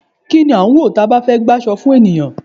Ki n lá ń wọ, taba ba fé gbaso fun eyán?